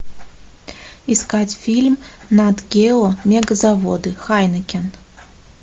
искать фильм нат гео мегазаводы хайнекен